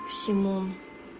симон